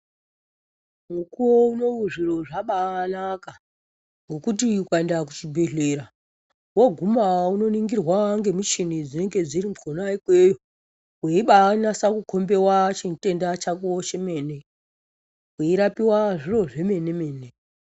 Mukuwo unou zviro zvabaanaka ngokuti ukaenda kuchibhedhlera woguma unoningirwa ngemuchini dzinenge dziri khona ikweyo weibanasa kukhombewa chimutenda chako chemene weirapiwa zviro zvemene mene